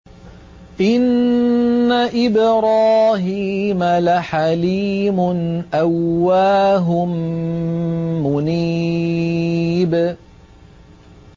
إِنَّ إِبْرَاهِيمَ لَحَلِيمٌ أَوَّاهٌ مُّنِيبٌ